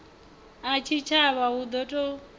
a tshitshavha hu ḓo ṱo